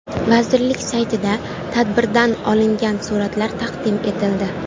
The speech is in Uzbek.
Vazirlik saytida tadbirdan olingan suratlar taqdim etildi.